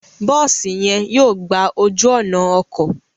Bosi yen yóò gbà ojú ònà ọkọ